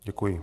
Děkuji.